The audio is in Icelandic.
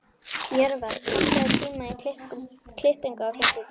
Jörvar, pantaðu tíma í klippingu á fimmtudaginn.